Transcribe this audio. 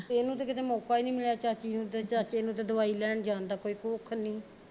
ਤੇ ਇਹਨੂੰ ਤੇ ਕਿਤੇ ਮੌਕਾ ਨੀ ਮਿਲਿਆ ਚਾਚੀ ਨੂੰ ਤੇ ਚਾਚੇ ਨੂੰ ਤੇ ਕਿਤੇ ਦਵਾਈ ਲੈਣ ਜਾਣ ਦਾ ਕੋਈ ਕੁਖ ਨੀ